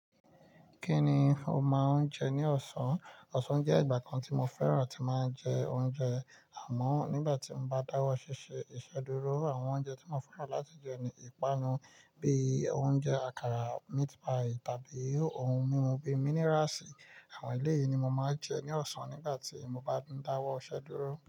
Kí ni o máa ń jẹ ní ọ̀sán? Ọ̀sán jẹ́ ìgbà kan tí mo fẹ́ràn tí máa ń jẹ oúnjẹ, àmọ́ nígbà tí mo bá dáwọ́ ṣíṣe, ìsedúró àwọn oúnjẹ tí mo fẹ́ràn láti jẹ ni ìpanu bíi oúnjẹ àkàrà, meat pie tàbí ohun mímu bíi minerals. Àwọn èlé yìí ni mo máa ń jẹ ní ọ̀sán nígbà tí mo bá ń dáwọ́ iṣẹ́dúró.